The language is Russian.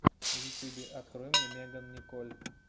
в ютюбе открой меган николь